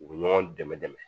U bɛ ɲɔgɔn dɛmɛ dɛmɛ